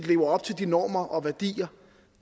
lever op til de normer og værdier